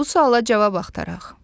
Bu suala cavab axtaraq.